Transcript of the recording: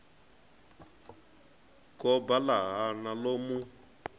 goba ḽa hana ḽo mu